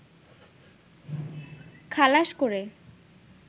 খালাস করে